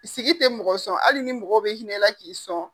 Sigi tɛ mɔgɔ sɔn hali ni mɔgɔ bɛ hinɛ i la k'i sɔn.